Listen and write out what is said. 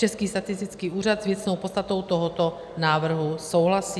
Český statistický úřad s věcnou podstatou tohoto návrhu souhlasí.